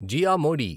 Jiya Modi